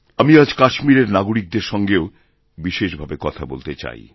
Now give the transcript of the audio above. আমি আজ কাশ্মীরেরনাগরিকদের সঙ্গেও বিশেষ ভাবে কথা বলতে চাই